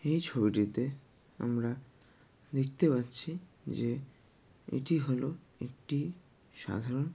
এই ছবিটিতে আমরা দেখতে পাচ্ছি যে এটি হল একটি সাধারন।